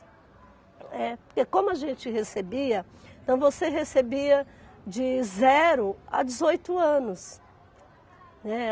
É. Porque como a gente recebia, então você recebia de zero a dezoito anos, né.